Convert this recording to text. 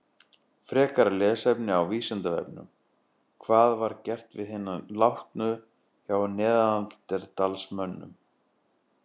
Frekara lesefni á Vísindavefnum: Hvað var gert við hina látnu hjá neanderdalsmönnum?